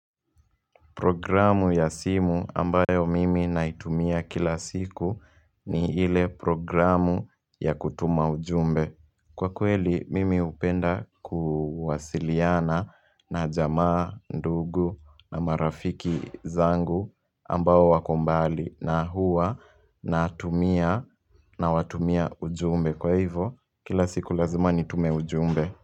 Programu ya simu ambayo mimi naitumia kila siku ni ile programu ya kutuma ujumbe. Kwa kweli mimi upenda kuwasiliana na jamaa, ndugu na marafiki zangu ambao wako mbali na hua na watumia ujumbe. Kwa hivo kila siku lazima nitume ujumbe.